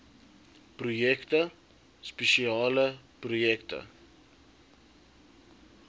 projekte spesiale projekte